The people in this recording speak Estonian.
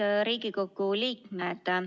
Head Riigikogu liikmed!